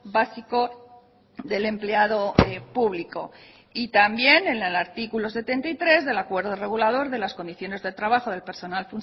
básico del empleado público y también en el artículo setenta y tres del acuerdo regulador de las condiciones de trabajo del personal